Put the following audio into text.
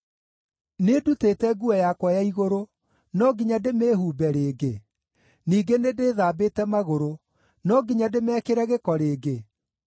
Nĩndutĩte nguo yakwa ya igũrũ: no nginya ndĩmĩĩhumbe rĩngĩ? Ningĩ nĩndĩthambĩte magũrũ: no nginya ndĩmekĩre gĩko rĩngĩ?